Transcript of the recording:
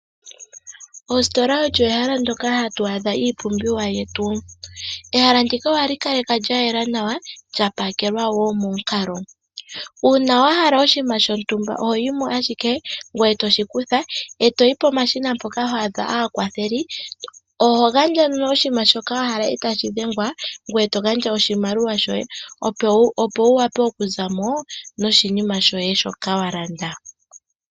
Oositola olyo ehala ndyoka hatu adha iipumbiwa yetu. Ehala ndika ohali kalekwa lyayela nawa lya pakelwa woo momukalo, una wa hala oshiima shotumba oho yi mo ashike ngoye toshi kutha etoyi pomashina mpoka hwa adha aakwatheli, oho gandja nee oshiima shoka wa hala etashi dhengwa, ngweye to gandja oshimaliwa shoye opo wu wape oku zamo noshinima shoye shoka wa landa.